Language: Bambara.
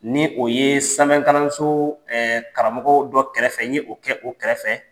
Ni o ye sanfɛkalanso karamogo dɔ kɛrɛfɛ n ye o kɛ o kɛrɛfɛ.